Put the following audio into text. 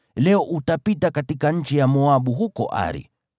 “Leo utapita katika nchi ya Moabu huko Ari.